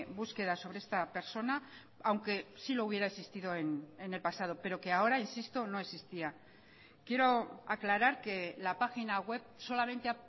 búsqueda sobre esta persona aunque sí lo hubiera existido en el pasado pero que ahora insisto no existía quiero aclarar que la página web solamente